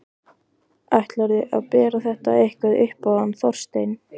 Ætlarðu að bera þetta eitthvað upp á hann Þorstein?